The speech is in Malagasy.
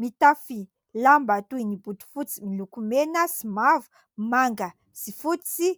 Mitafy lamba toy ny botofotsy miloko mena sy mavo, manga sy fotsy